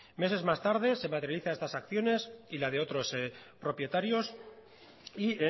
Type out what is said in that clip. meses más tarde se materializa estas acciones y la de otros propietarios y